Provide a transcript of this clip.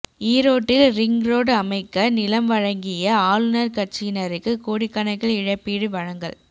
ஈரோட்டில் ring road அமைக்க நிலம் வழங்கிய ஆளுங்கட்சியினருக்கு கோடிக்கணக்கில் இழப்பீடு வழங்கல்